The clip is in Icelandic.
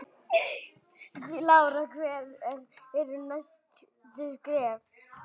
Lára: Hver eru næstu skerf?